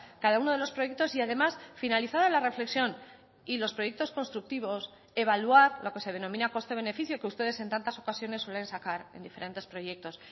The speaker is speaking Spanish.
cada uno de los proyectos y además finalizada la reflexión y los proyectos constructivos evaluar lo que se denomina coste beneficio que ustedes en tantas ocasiones suelen sacar en diferentes proyectos